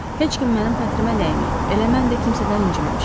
Heç kim mənim xətrimə dəyməyib, elə mən də kimsədən inciməmişəm.